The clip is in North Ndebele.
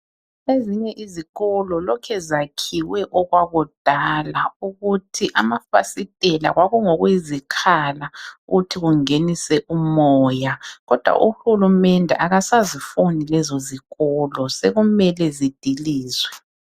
Ezinye izikolo lokhe zakhiwe okwakudala ukuthi amafasitela kwakungokuyizikhala ukuthi kungenise umoya. Kodwa uhulumende akasazifuni lezo zikolo sekumele zidilizwe.